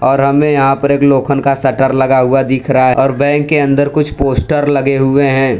ओर हमे यहां पर एक लोखन का शटर लगा हुआ दिख रहा है और बैंक के अंदर कुछ पोस्टर लगे हुए हैं।